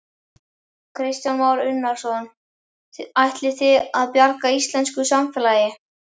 Kristján Már Unnarsson: Ætlið þið að bjarga íslensku samfélagi?